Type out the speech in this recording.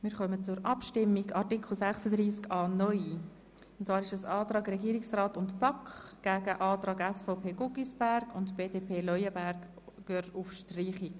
Wir kommen zur Abstimmung über die Anträge zu Artikel 36a (neu) von Regierungsrat/BaK, SVP/Guggisberg und BDP/Leuenberger auf Streichung.